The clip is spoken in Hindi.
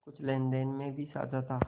कुछ लेनदेन में भी साझा था